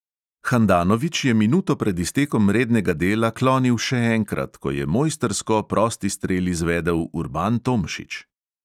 Handanović je minuto pred iztekom rednega dela klonil še enkrat, ko je mojstrsko prosti strel izvedel urban tomšič.